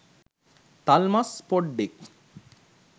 තල්මස් පොඩ්ඩෙක්